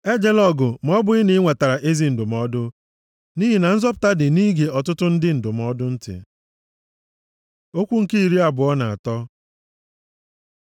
Ejela ọgụ ma ọ bụghị na i nwetara ezi ndụmọdụ, nʼihi na nzọpụta dị nʼige ọtụtụ ndị ndụmọdụ ntị. Okwu nke iri abụọ na atọ